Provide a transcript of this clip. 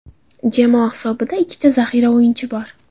Jamoa hisobida ikkita zaxira o‘yini bor.